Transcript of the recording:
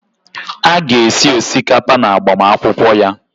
A ga-esi osikapa n'agbamakwụkwọ ya.